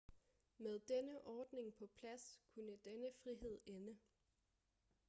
med denne ordning på plads kunne denne frihed ende